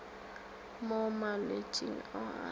mo malwetšing ao a sa